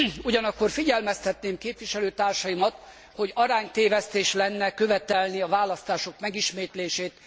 Ugyanakkor figyelmeztetném képviselőtársaimat, hogy aránytévesztés lenne követelni a választások megismétlését.